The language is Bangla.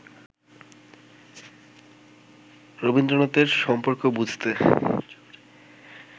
রবীন্দ্রনাথের সম্পর্ক বুঝতে